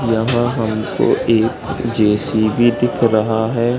यहां हमको एक जे_सी_बी दिख रहा हैं।